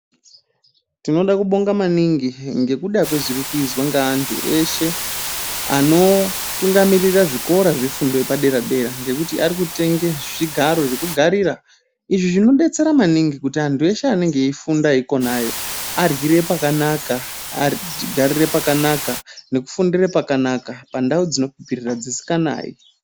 Tinoda kubonga maningi ngekuda kwezviri kuizwa ngeanthu eshe anotungamirira zvikora zvefundo yepadera dera ngokuti ari kutenge zvigaro zvekugarira izvi zviodetsera maningi kuti anthu eshe anenge eifunda ikonayo aryire pakanaka, agarire pakanaka nokufundire pakanaka pandau dzine kupfirira dzisikanayi.